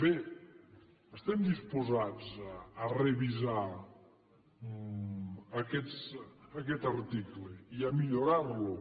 bé estem disposats a revisar aquest article i a millorar lo